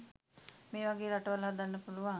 මේ වගේ රටවල් හදන්න පුළුවන්